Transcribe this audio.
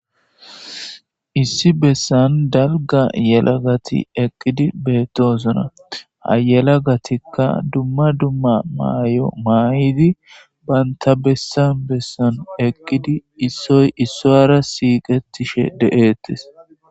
Issi besan dalga yelagat eqid betosona . Ha gelagatika dumma dumma mayo mayid banta besan besan eqid issoy isara siqetishe de'etes.